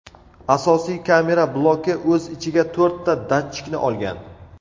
Asosiy kamera bloki o‘z ichiga to‘rtta datchikni olgan.